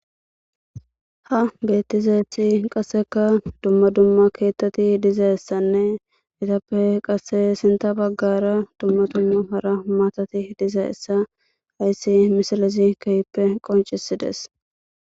ha beettizayethi qasseka dumma dumma keettati dizayessanne itappe qasse sinta baggara dumma dumma para maatati dizayessa ayssi misilizi kehippe qoncisides